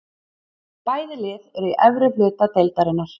Bæði lið eru í efri hluta deildarinnar.